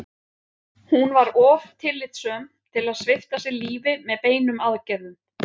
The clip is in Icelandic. Hún var of tillitssöm til að svipta sig lífi með beinum aðgerðum.